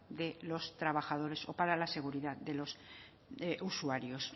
de los trabajadores o para la seguridad de los usuarios